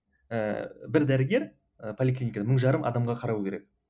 ііі бір дәрігер і поликлиникада мың жарым адамға қарау керек